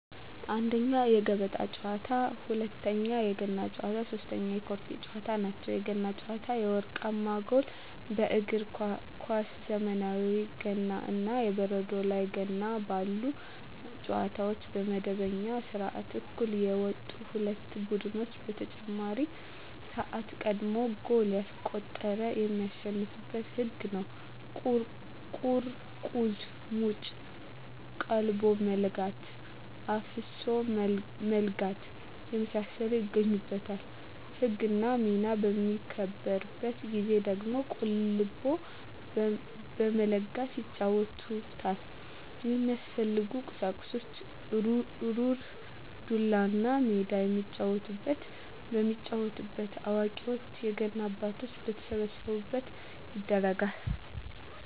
1ኛ, የገበጣ ጨዋታ, 2ኛ, የገና ጨዋታ, 3ኛ የቆርኪ ጨዋታ ናቸው። የገና ጨዋታ የወርቃማ ጎል በእግር ኳስ ዘመናዊ ገና እና የበረዶ ላይ ገና ባሉ ጨዋታዎች በመደበኛው ስዓት እኩል የወጡ ሁለት ቡድኖች በተጨማሪ ስዓት ቀድሞ ጎል ያስቆጠረ የሚያሸንፋበት ህግ ነው ቁርቁዝ ሙጭ ,ቀልቦ መለጋት ,አፍሶ መለጋት የመሳሰሉት ይገኙበታል። ህግና ሚና በሚከበርበት ጊዜ ደግሞ ቀልቦ በመለጋት ይጫወቱታል። የሚያስፈልጉ ቁሳቁስ ሩር, ዱላ, እና ሜዳ የሚጫወቱበት። የሚጫወተው አዋቂዎች የገና አባቶች በተሰበሰቡበት ይደረጋል።